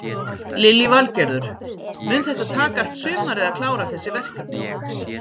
Lillý Valgerður: Mun þetta taka allt sumarið að klára þessi verkefni?